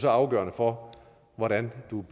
afgørende for hvordan man